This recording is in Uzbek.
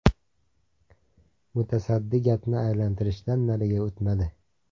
Mutasaddi gapni aylantirishdan nariga o‘tmadi.